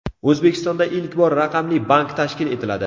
O‘zbekistonda ilk bor raqamli bank tashkil etiladi.